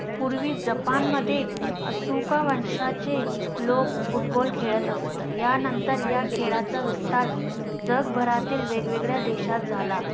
पूर्वी जपान मध्ये अशोका वंशाचे लोक football खेळत असत, या नंतर या खेळlचा विस्तार जगभरातील वेगेवगळ्या देशात झाला.